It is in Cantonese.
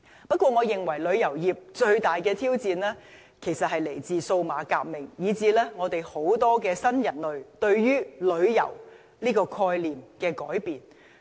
不過，我認為旅遊業最大的挑戰其實是來自數碼革命，以致很多新人類對旅遊概念的改變。